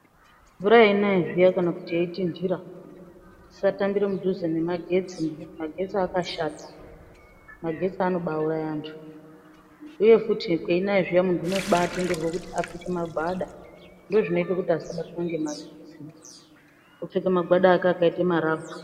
Mvura yeinaya zviyana kana kuti yeitinhira ,tisatambira mudhuze nemagetsi, magetsi akabashata ,magetsi anobauraya vanthu uye futi kweinaya zviya munthu unobatenderwa kupfeka magwada ,ndozvinoite kuti asabatwa ngemagetsi opfeka magwada ake akaita marabha.